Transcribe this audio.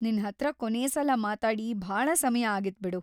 ನಿನ್ಹತ್ರ ಕೊನೇ ಸಲ ಮಾತಾಡಿ ಭಾಳ ಸಮಯ ಆಗಿತ್‌ ಬಿಡು.